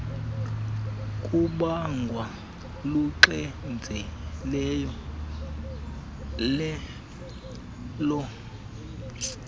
kubangwa luxinzelelo olusezantsi